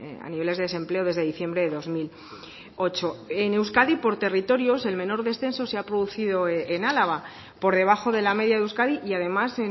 a niveles de desempleo desde diciembre de dos mil ocho en euskadi por territorios el menor descenso se ha producido en álava por debajo de la media de euskadi y además